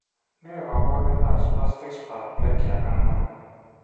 Ne kaabarunetap Spastic paraplegia 4?